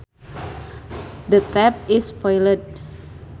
The tap is spoiled